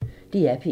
DR P1